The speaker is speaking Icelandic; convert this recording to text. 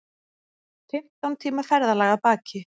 Fimmtán tíma ferðalag að baki